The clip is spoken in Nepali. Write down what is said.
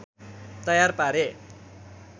तयार पारे